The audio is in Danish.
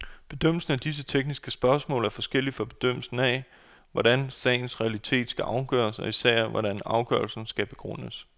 Bedømmelsen af disse tekniske spørgsmål er forskellig fra bedømmelsen af, hvordan sagens realitet skal afgøres og især, hvordan afgørelsen skal begrundes.